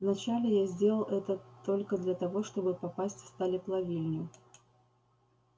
вначале я сделал это только для того чтобы попасть в сталеплавильню